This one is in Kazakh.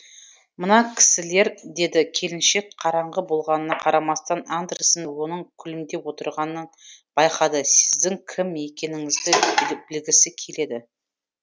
мына кісілер деді келіншек қараңғы болғанына қарамастан андерсен оның күлімдеп отырғанын байқады сіздің кім екеніңізді білгісі келеді